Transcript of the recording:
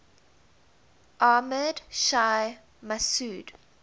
ahmad shah massoud